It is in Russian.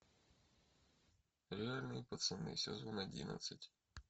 реальные пацаны сезон одиннадцать